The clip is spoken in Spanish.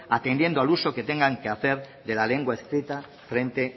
atendiendo al uso que tengan que hacer de la lengua escrita frente